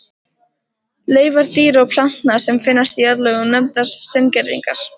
Leifar dýra og plantna, sem finnast í jarðlögum, nefnast steingervingar.